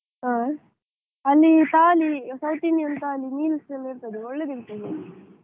ಹಾ. ಅಲ್ಲಿ thali, South Indian thali, meals ಎಲ್ಲಾ ಇರ್ತದೆ, ಒಳ್ಳೆದಿರ್ತದೆ.